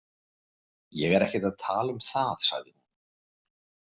Ég er ekkert að tala um það, sagði hún.